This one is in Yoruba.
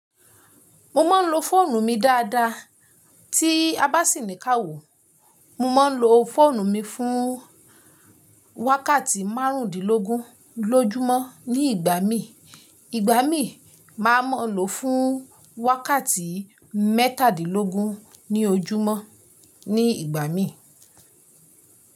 Mo máa ń lo fóònù mi dáadáa tí a bá sì ní ká wò. Mo máa ń lo fóònù mi fún wákàtí márùndínlógún lójúmọ́ ní ìgbà mií. Ìgbà mí, màá mọ lò fún wákàtí mẹ́tàdìnlógún ní ojúmọ́ ní ìgbà mií.